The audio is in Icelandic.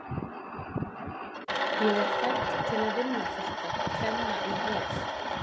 Ég er fædd til að vinna þetta, tremma í hel.